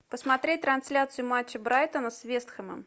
посмотреть трансляцию матча брайтона с вест хэмом